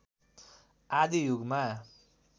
आदि युगमा